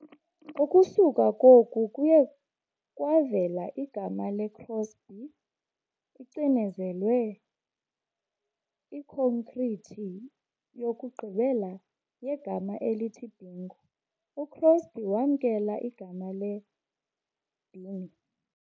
Ukusuka koku kuye kwavela igama le-Crosby- icinezelwe ikhonkrithi yokugqibela yegama elithi "Bingo", uCrosby wamkela igama le- "Bing".